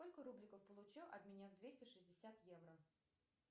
сколько рубликов получу обменяв двести шестьдесят евро